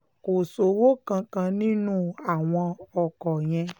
kò sówó kankan nínú àwọn ọkọ̀ yẹn